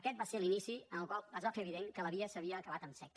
aquest va ser l’inici en el qual es va fer evident que la via s’havia acabat en sec